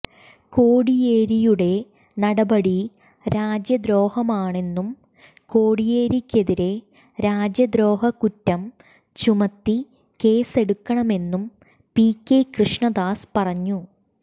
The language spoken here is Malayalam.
കോടിയേരിയുടെ നടപടി രാജ്യദ്രോഹമാണെന്നും കോടിയേരിക്കെതിരേ രാജ്യദ്രോഹ കുറ്റം ചുമത്തി കേസെടുക്കണമെന്നും പി കെ കൃഷ്ണദാസ് പറഞ്ഞു